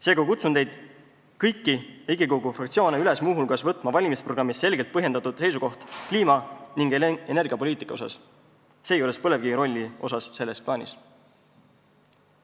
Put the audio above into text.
Seega kutsun kõiki Riigikogu fraktsioone üles muu hulgas võtma valimisprogrammis selgelt põhjendatud seisukoht kliima- ning energiapoliitika kohta, sealjuures põlevkivi rolli kohta selles plaanis.